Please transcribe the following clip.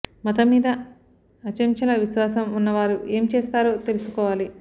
మతం మీద అచంచల విశ్వాసం ఉన్నవారు ఏం చేస్తారో తెలుసు కోవాలి